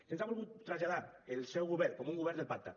se’ns ha volgut traslladar el seu govern com un govern del pacte